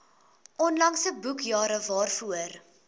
onlangse boekjare waarvoor